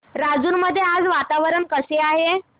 राजूर मध्ये आज वातावरण कसे आहे